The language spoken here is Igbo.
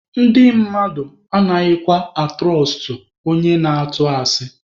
Ndị mmadụ anaghịkwa atụrọstụ onye na-atụ asị.